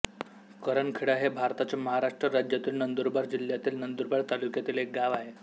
करणखेडा हे भारताच्या महाराष्ट्र राज्यातील नंदुरबार जिल्ह्यातील नंदुरबार तालुक्यातील एक गाव आहे